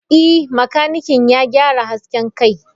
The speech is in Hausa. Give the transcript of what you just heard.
Ee, makanikin ya gyara hasken kai.